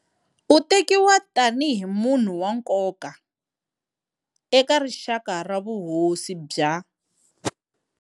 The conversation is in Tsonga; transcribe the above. U tekiwa tani hi munhu wa nkoka eka rixaka ra vuhosi bya.